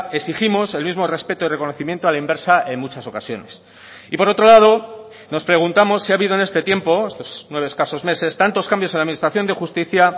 exigimos el mismo respeto y reconocimiento a la inversa en muchas ocasiones y por otro lado nos preguntamos si ha habido en este tiempo estos nueve escasos meses tantos cambios en la administración de justicia